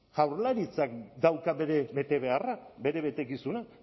jaurlaritzak dauka bere betebeharra bere betekizuna